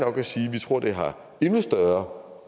vi tror det har endnu større